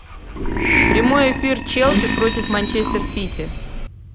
прямой эфир челси против манчестер сити